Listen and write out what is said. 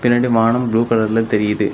நீங்க ரெண்டு வானம் ப்ளூ கலர்ல தெரியுது.